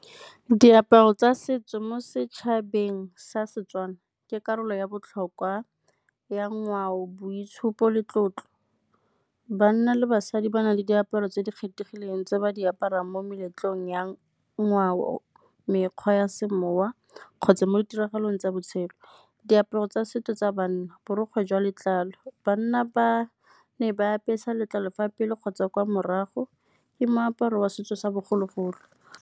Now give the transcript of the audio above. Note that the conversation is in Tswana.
Diaparo tsa setso mo setšhabeng sa Setswana ke karolo ya botlhokwa ya ngwao, boitshupo le tlotlo. Banna le basadi ba na le diaparo tse di kgethegileng tse ba di aparang mo meletlong ya ngwao, mekgwa ya semoya kgotsa mo ditiragalong tsa botshelo. Diaparo tsa setso tsa banna borokgwe jwa letlalo, banna ba ne ba apesa letlalo fa pelo kgotsa kwa morago, ke moaparo wa setso sa bogologolo.